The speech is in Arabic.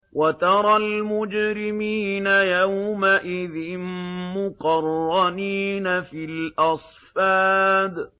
وَتَرَى الْمُجْرِمِينَ يَوْمَئِذٍ مُّقَرَّنِينَ فِي الْأَصْفَادِ